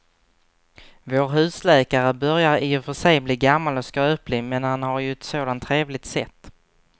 Vår husläkare börjar i och för sig bli gammal och skröplig, men han har ju ett sådant trevligt sätt!